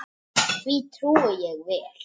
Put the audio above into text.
Því trúi ég vel.